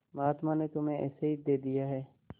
महात्मा ने तुम्हें ऐसे ही दे दिया है